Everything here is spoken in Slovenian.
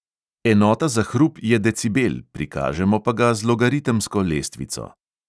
Enota za hrup je decibel, prikažemo pa ga z logaritemsko lestvico.